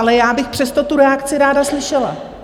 Ale já bych přesto tu reakci ráda slyšela.